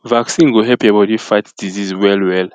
vaccine go help your body fight disease well well